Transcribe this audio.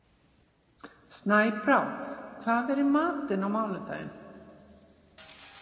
Snæbrá, hvað er í matinn á mánudaginn?